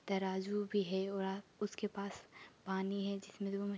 तराजू भी है। उसके पास पानी है जिसमे दो में --